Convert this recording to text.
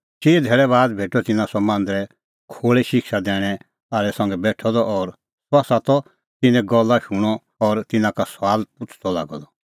चिई धैल़ै बाद भेटअ तिन्नां सह मांदरे खोल़ै शिक्षा दैणैं आल़ै संघै बेठअ द और सह त तिन्नें गल्ला शूणअ और तिन्नां का सुआल पुछ़दअ लागअ द